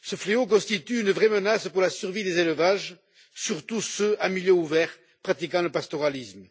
Ce fléau constitue une vraie menace pour la survie des élevages, surtout ceux en milieu ouvert, pratiquant le pastoralisme.